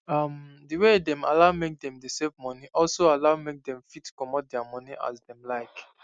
um the way dem allow make them dey save moni also allow make dem fit comot thier moni as them like